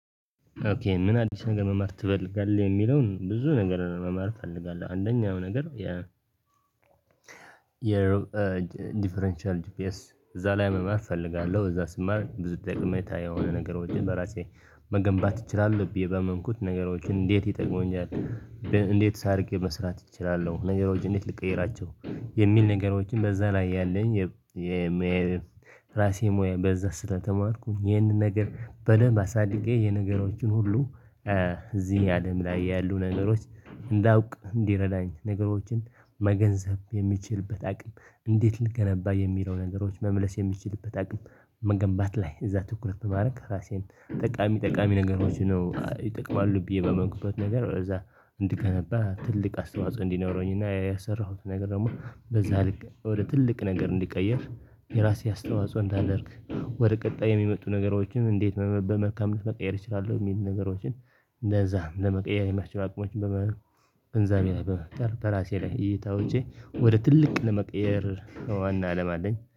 ኦኬ ምን አዲስ ነገር መማር ትፈልጋለህ? የሚለውን ብዙ ነገር መማር እፈልጋለሁ አንደኛው ነገር የ የሮ ዲፈረንሻል ጂፒኤስ እዛ ላይ መማር እፈልጋለሁ። እዛ ስማር ብዙ ጠቀሜታ የሆነ ነገሮችን ወይ በራሴ መገንባት እችላለሁ ብዬ ባመንኩት ነገሮችን እንዴት ይጠቅሙኛል? እንዴትስ አድርጌ መስራት እችላለሁ። ነገሮች እንዴት ልቀይራቸው? የሚል ነገሮችን በዛ ላይ ያለኝ የም ራሴ ሙያ በዛ ስለተማርኩኝ ይህንን ነገር በደንብ አሳድጌ የነገሮችን ሁሉ እዚህ አለም ላይ ያሉ ነገሮች። እንዳውቅ እንዲረዳኝ ነገሮችን መገንዘብ የሚችልበት አቅም እንዴት ልገነባ የሚለው ነገሮች መመለስ የሚችልበት አቅም መገንባት ላይ እዛ ትኩረት ማድረግ ራሴን ጠቃሚ ጠቃሚ ነገሮች ነው። ይጠቅማሉ ብዬ በመግባት ነገር እዛ እንድገነባ ትልቅ አስተዋጽኦ እንዲኖረኝና ያሰራሁት ነገር ደግሞ በዛ ወደ ትልቅ ነገር እንዲቀየር የራሴ አስተዋጽኦ እንዳደርግ ወደ ቀጣይ የሚመጡ ነገሮችን እንዴት በመልካምነት መቀየር እችላለሁ። የሚል ነገሮችን እንደዛ ለመቀየር የሚያስችሉ አቅሞችን በመ ግንዛቤ ላይ በመፍጠር በራሴ ላይ እይታዎቼ ወደ ትልቅ ለመቀየር ዋና አላማ አለኝ